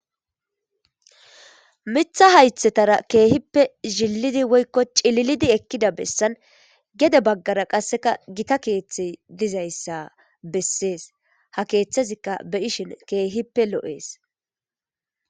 Mitha haythetara keehippe zhillidi woykko cililidi ekkida bessan gede baggara qasseka gita keeththe dizayssa bessees ha keeththazikka be ishin keehippe lo7ees